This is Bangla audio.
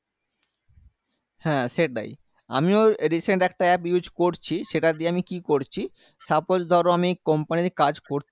হ্যাঁ সেটাই আমিও recent একটা app use করছি সেটা দিয়ে আমি কি করছি suppose ধরো আমি company র কাজ কর